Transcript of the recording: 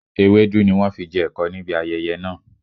Ewédú ni wọn fi jẹ ẹ̀kọ níbi ayẹyẹ náà